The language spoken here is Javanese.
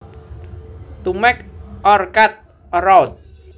To make or cut a route